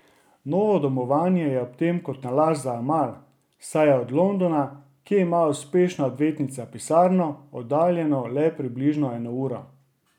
Novo domovanje je ob tem kot nalašč za Amal, saj je od Londona, kje ima uspešna odvetnica pisarno, oddaljeno le približno eno uro.